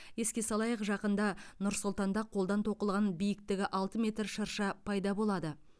еске салайық жақында нұр сұлтанда қолдан тоқылған биіктігі алты метр шырша пайда болады